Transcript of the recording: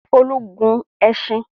Folú gun ẹṣin?